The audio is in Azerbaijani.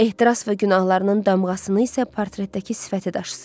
Ehtiras və günahlarının damğasını isə portretdəki sifəti daşısın.